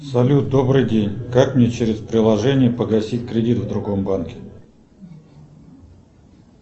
салют добрый день как мне через приложение погасить кредит в другом банке